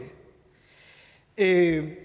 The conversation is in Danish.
øvrigt